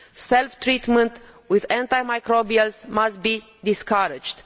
Self treatment with antimicrobials must be discouraged.